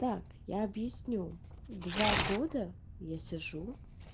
так я объясню два года я сижу